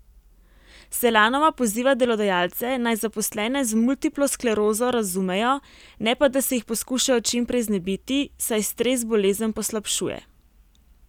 Selanova poziva delodajalce, naj zaposlene z multiplo sklerozo razumejo, ne pa da se jih poskušajo čim prej znebiti, saj stres bolezen poslabšuje.